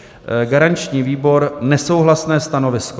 Garanční výbor: nesouhlasné stanovisko.